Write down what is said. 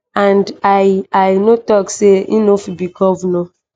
and i i no tok say e no fit be govnor.